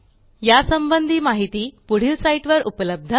या संबंधी माहिती पुढील साईटवर उपलब्ध आहे